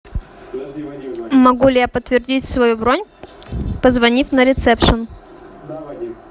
могу ли я подтвердить свою бронь позвонив на ресепшн